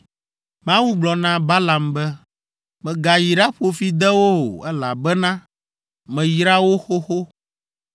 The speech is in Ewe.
Mawu gblɔ na Balaam be, “Mègayi ɖaƒo fi de wo o, elabena meyra wo xoxo!”